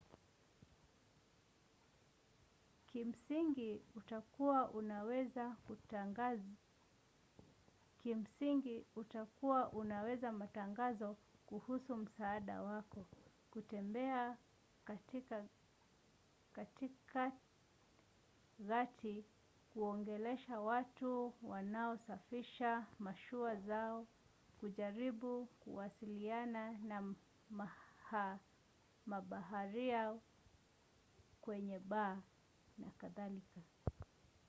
kimsingi utakuwa unaweka matangazo kuhusu msaada wako kutembea katika gati kuongelesha watu wanaosafisha mashua zao kujaribu kuwasiliana na mabaharia kwenye baa na kadhalika